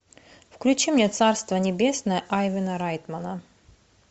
включи мне царство небесное айвана райтмана